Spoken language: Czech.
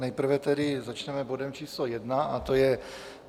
Nejprve tedy začneme bodem číslo 1 a to je